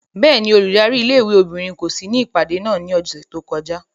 Bẹ́ẹ̀ni, óludari ìlé-ìwé obinrin ko si ni ipade náa ni ọsẹ to kọja.